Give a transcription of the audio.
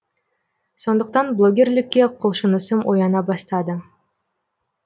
сондықтан блогерлікке құлшынысым ояна бастады